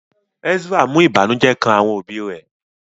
Ezra mú ìbànújẹ́ kán àwọn òbí rẹ̀